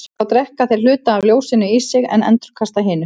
Þá drekka þeir hluta af ljósinu í sig en endurkasta hinu.